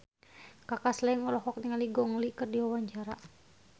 Kaka Slank olohok ningali Gong Li keur diwawancara